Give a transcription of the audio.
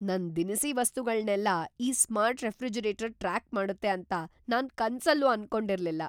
ನನ್ ದಿನಸಿ ವಸ್ತುಗಳ್ನೆಲ್ಲ ಈ ಸ್ಮಾರ್ಟ್ ರೆಫ್ರಿಜರೇಟರ್ ಟ್ರ್ಯಾಕ್ ಮಾಡುತ್ತೆ ಅಂತ ನಾನ್‌ ಕನ್ಸಲ್ಲೂ ಅನ್ಕೊಂಡಿರ್ಲಿಲ್ಲ.